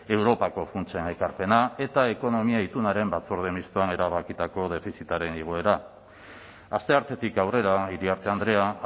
europako funtsen ekarpena eta ekonomia itunaren batzorde mistoan erabakitako defizitaren igoera asteartetik aurrera iriarte andrea